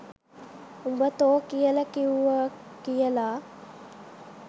උඹ තෝ කියල කිවුව කියල